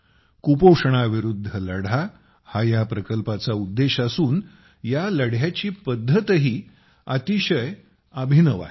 कुपोषणाविरुद्ध लढा हा या प्रकल्पाचा उद्देश असून या लढ्याची पद्धतही अतिशय अभिनव आहे